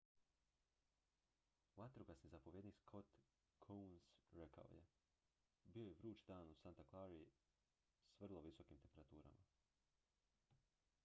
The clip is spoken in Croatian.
vatrogasni zapovjednik scott kouns rekao je bio je vruć dan u santa clari s vrlo visokim temperaturama